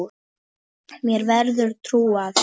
Mér verður trúað.